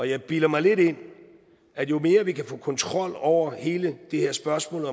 jeg bilder mig lidt ind at jo mere vi kan få kontrol over hele det her spørgsmål